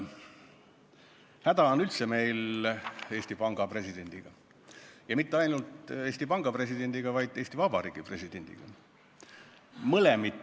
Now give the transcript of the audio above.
Meil on üldse häda presidendiga, ja mitte ainult Eesti Panga presidendiga, vaid ka Eesti Vabariigi presidendiga.